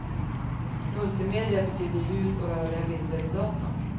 Multimedia betyder ljud och rörliga bilder i datorn.